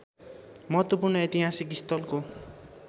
महत्त्वपूर्ण ऐतिहासिक स्थलको